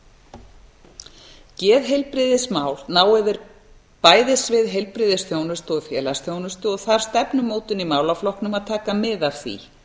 geðfatlana geðheilbrigðismál ná yfir bæði svið heilbrigðisþjónustu og félagsþjónustu og þarf stefnumótun í málaflokknum að taka mið af því